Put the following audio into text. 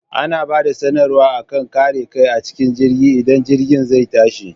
Ana bada sanar wa akan kare kai acikin jirgi idan jirgin zai tashi